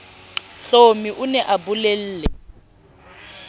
hlomi o ne a bolelle